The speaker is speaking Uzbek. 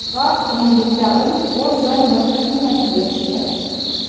Biroq endilikda u o‘z joyini boshqa kimgadir berishi kerak.